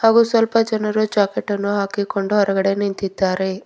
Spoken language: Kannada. ಹಾಗು ಸ್ವಲ್ಪ ಜನರು ಜಾಕೆಟ್ ಅನ್ನು ಹಾಕಿಕೊಂಡು ಹೊರಗಡೆ ನಿಂತಿದ್ದಾರೆ.